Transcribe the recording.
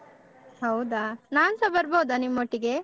ಹೌದಾ ನಾನ್ಸ ಬರ್ಬೋದಾ ನಿಮ್ಮೊಟ್ಟಿಗೆ?